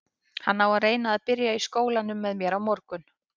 Hann á að reyna að byrja í skólanum með mér á morgun.